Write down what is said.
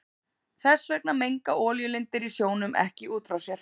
Þess vegna menga olíulindir í sjónum ekki út frá sér.